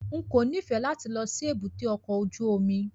N kò nífẹ̀ẹ́ láti lọ sí èbúté ọkọ̀ ojú omi.